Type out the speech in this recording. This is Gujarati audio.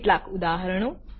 કેટલાક ઉદાહરણો